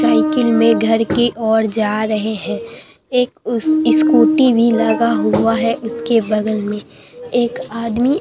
cycle में घर की ओर जा रहे हैं एक उस स्कूटी भी लगा हुआ है उसके बगल में एक आदमी--